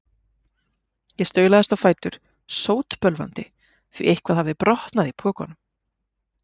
Ég staulaðist á fætur, sótbölvandi, því eitthvað hafði brotnað í pokunum.